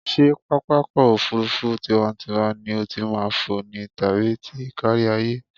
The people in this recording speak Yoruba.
Ṣé pápákọ̀-òfurufú tiwa-n-tiwa ni o ti máa fò ni tàbí ti kárí-ayé?